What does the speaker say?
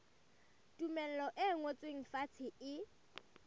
tumello e ngotsweng fatshe e